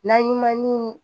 N'an yi ma ni